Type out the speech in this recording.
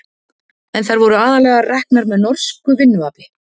en þær voru aðallega reknar með norsku vinnuafli